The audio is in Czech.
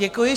Děkuji.